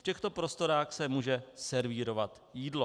V těchto prostorách se může servírovat jídlo.